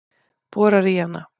Borar í hana.